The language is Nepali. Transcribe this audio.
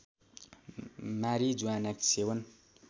मारिजुआना सेवन